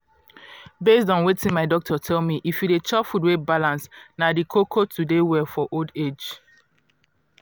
based on wetin my doctor tell me if you dey chop food wey balance na di koko to dey well for old age.